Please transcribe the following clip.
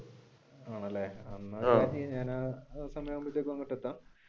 ആണല്ലേ